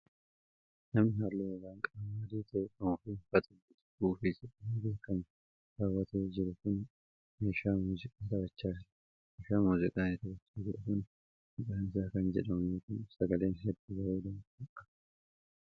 Namni haalluu gogaa qaamaa adii ta'e qabuu fi uffata guutuu suufii jedhamee beekamu kaawwatee jiru kun, meeshaa muuziqaa taphachaa jira. Meeshaan muuziqaa inni taphachaa jiru kun maqaan isaa kan jedhamu yoo ta'u, sagalee hedduu bareedaa ta'e qaba.